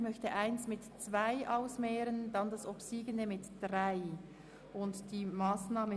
Ich möchte den Antrag 1 dem Antrag 2 gegenüberstellen und dann den obsiegenden dem Antrag 3 gegenüberstellen.